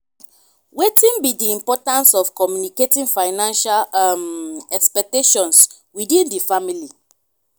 wetin be di importance of communicating financial um expectations within di family?